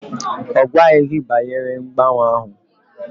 Ọ gwaghị gị banyere mgbanwe ahụ?